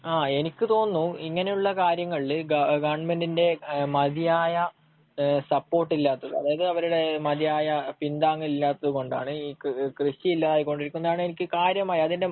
ങ്ഹാ എനിക്ക് തോന്നുന്നു, ഇങ്ങനെയുള്ള കാര്യങ്ങളില് ഗവണ്മെന്റിന്റെ മതിയായ സപ്പോർട്ട് ഇല്ലാത്തത്, അതായത് അവരുടെ മതിയായ പിന്താങ്ങൽ ഇല്ലാത്തതുകൊണ്ടാണ് ഈ കൃഷി ഇല്ലാതായിക്കൊണ്ടിരിക്കുന്നതെന്നാണ് എനിക്ക് കാര്യമായ അതിന്റെ